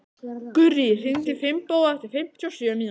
Gurrí, hringdu í Finnbogu eftir fimmtíu og sjö mínútur.